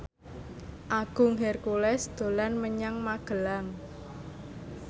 Agung Hercules dolan menyang Magelang